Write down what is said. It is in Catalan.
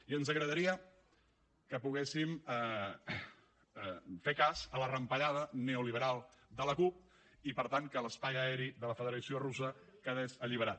i ens agradaria que poguéssim fer cas a la rampellada neoliberal de la cup i per tant que l’espai aeri de la federació russa quedés alliberat